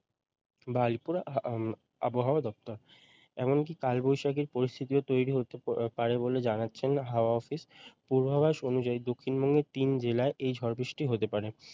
বা আলিপুর আ~ আবহাওয়া দফতর এমনকী কালবৈশাখির পরিস্থিতিও তৈরি হতে পারে বলে জানাচ্ছেন হাওয়া office পূর্বাভাস অনুযায়ী দক্ষিণবঙ্গের তিন জেলায় ঝড়বৃষ্টি হতে পারে